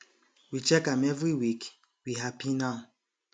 we check am every week we happy now